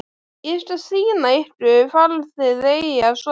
Ég skal sýna ykkur hvar þið eigið að sofa